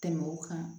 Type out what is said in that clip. Tɛmɛ o kan